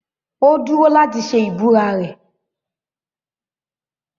Ó dúró láti ṣe ìbúra rẹ̀.